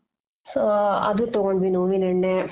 so ಅದು ತೊಗೊಂಡ್ವಿ ನೋವಿನ್ ಎಣ್ಣೆ